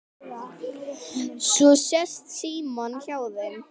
Svo sest Símon hjá þeim